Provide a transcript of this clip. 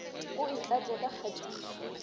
o e tlatše ka kgatišo